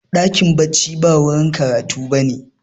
dakin bacci ba wajen karatu ba ne